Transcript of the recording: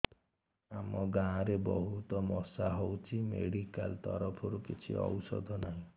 ଆମ ଗାଁ ରେ ବହୁତ ମଶା ହଉଚି ମେଡିକାଲ ତରଫରୁ କିଛି ଔଷଧ ନାହିଁ